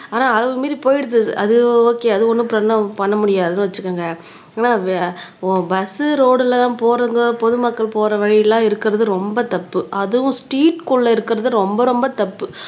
ஆனா அளவு மீறி போயிடுது அது ஓகே அது ஒண்ணும் பண்ண முடியாதுன்னு வச்சுக்கோங்க ஆனா பஸ் ரோடுல போறவங்க பொதுமக்கள் போற வழியெல்லாம் இருக்கிறது ரொம்ப தப்பு அதுவும் ஸ்ட்ரீட்க்குள்ள இருக்கிறது ரொம்ப ரொம்ப தப்பு